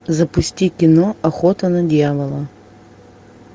запусти кино охота на дьявола